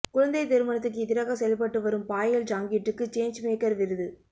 குழந்தைத் திருமணத்துக்கு எதிராக செயல்பட்டு வரும் பாயல் ஜாங்கிட்டுக்கு சேஞ்ச் மேக்கர் விருது